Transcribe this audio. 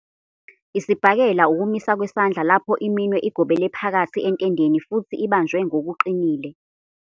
Isibhakela ukumisa kwesandla lapho iminwe igobele phakathi entendeni futhi ibanjwe ngokuqinile.